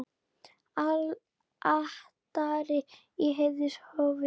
Altari í heiðnu hofi.